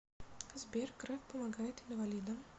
сбер греф помогает инвалидам